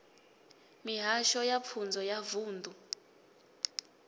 mihasho ya pfunzo ya vunḓu